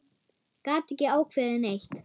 Gat ekki ákveðið neitt.